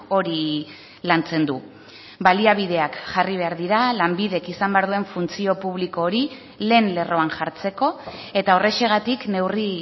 hori lantzen du baliabideak jarri behar dira lanbidek izan behar duen funtzio publiko hori lehen lerroan jartzeko eta horrexegatik neurri